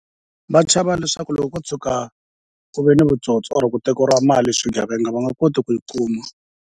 Va chava leswaku loko ko tshuka ku ve ni vutsotsi or ku tekeriwa mali swigevenga va nga koti ku yi kuma.